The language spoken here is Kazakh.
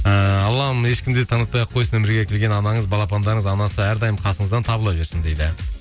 ыыы аллам ешкім де танытпай ақ қойсын өмірге келген анаңыз балапандарыңыз анасы әрдайым қасыңыздан табыла берсін дейді